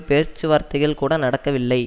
பேச்சு வார்த்தைகள் கூட நடக்கவில்லை